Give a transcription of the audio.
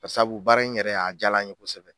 Ka sabu baara in yɛrɛ, a diyala n ye kosɛbɛ.